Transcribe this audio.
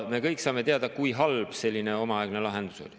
Me kõik saame teada, kui halb selline omaaegne lahendus oli.